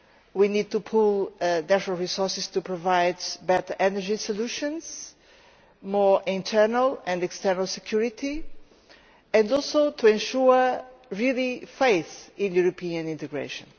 we need to pool natural resources to provide better energy solutions, more internal and external security and also to ensure real faith in European integration.